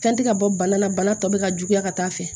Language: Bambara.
Fɛn tɛ ka bɔ bana la bana tɔ bɛ ka juguya ka taa fɛ